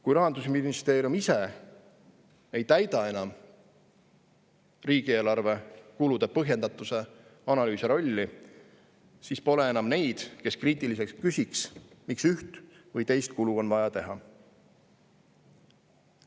Kui Rahandusministeerium ise ei täida enam riigieelarve kulude põhjendatuse analüüsija rolli, siis pole enam neid, kes kriitiliselt küsiks, miks üht või teist kulu on vaja teha.